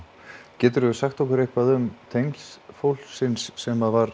geturðu sagt okkur eitthvað um tengsl fólksins sem var